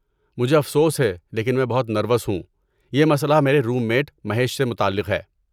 مجھے افسوس ہے لیکن میں بہت نروس ہوں، یہ مسئلہ میرے روم میٹ مہیش سے متعلق ہے۔